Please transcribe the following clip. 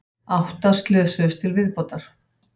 Átta slösuðust til viðbótar